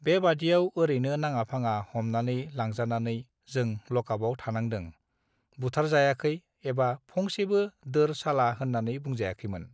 बेबादिआव ओरैनो नाङाफाङा हमनानै लांजानानै जों लकापआव थानांदों बुथारजायाखै एबा फंसेबो दोर चाला होननानै बुंजायाखैमोन